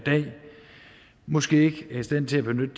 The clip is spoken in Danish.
måske ikke er i stand til at benytte